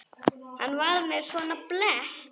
Hann var með svona blett.